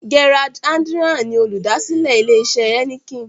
Gerard Adriaan ni olùdásílẹ̀ ilè isẹ̀ Heineken.